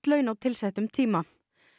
laun á tilsettum tíma